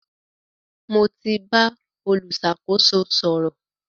Mo ti bá olùṣàkóso sọ̀rọ̀.